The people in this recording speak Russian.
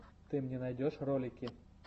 ты мне найдешь ролики